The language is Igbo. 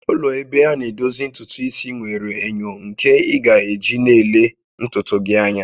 Ụlọ ebe ana edozi ntutu isi nwere enyo nke ị ga-eji na-ele ntutu gị anya